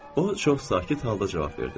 O çox sakit halda cavab verdi.